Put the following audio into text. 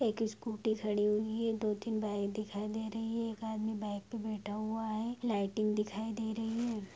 एक स्कूटी खड़ी हुई है दो तीन बाई दिखाई दे रहे है एक आदमी बाईक बे बेठा हुआ है लाइटिंग दिखाई दे रही है।